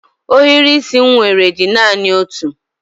Ohiri isi m nwere dị naani otu